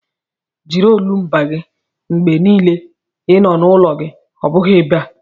Jiri olumba gị mgbe niile n'ụlọ gị ọ bụghị ebe a!